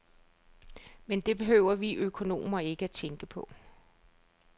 Men det behøver vi økonomer ikke tænke på.